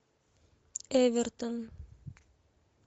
эвертон